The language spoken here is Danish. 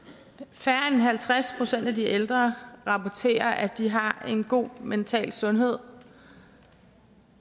færre end halvtreds procent af de ældre rapporterer at de har en god mental sundhed